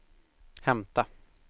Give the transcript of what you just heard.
hämta